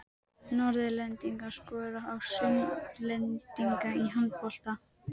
Norðlendingar skora á Sunnlendinga í handbolta.